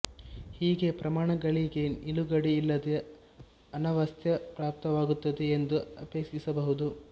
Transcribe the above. ಹೀಗೆ ಪ್ರಮಾಣಗಳಿಗೆ ನಿಲುಗಡೆ ಇಲ್ಲದೆ ಅನವಸ್ಥೆ ಪ್ರಾಪ್ತವಾಗುತ್ತದೆ ಎಂದು ಆಕ್ಷೇಪಿಸಬಹುದು